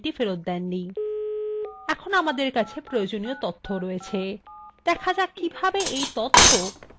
এখন আমরা আমাদের কাছে প্রয়োজনীয় তথ্য রয়েছে দেখা যাক কিভাবে এই তথ্য টেবিলে ভাগ করা যায়